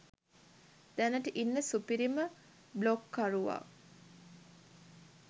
දැනට ඉන්න සුපිරිම බ්ලොග් කරුවා